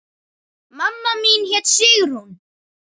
Mamma mín hét Sigrún.